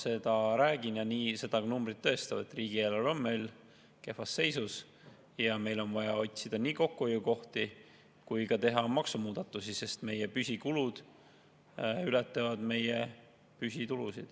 Ma räägin seda, ja ka numbrid tõestavad, et riigieelarve on meil kehvas seisus ja meil on vaja otsida nii kokkuhoiukohti kui ka teha maksumuudatusi, sest meie püsikulud ületavad meie püsitulusid.